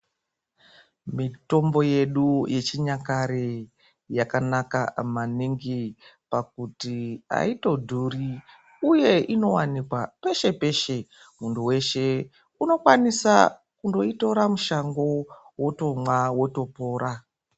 Mitombo yedu yechinyakare yakanaka maningi pakuti aitodhuri uye inowanikwa peshe peshe munthu weshe unokwanisa kundoitora mushango wotomwa wotopora.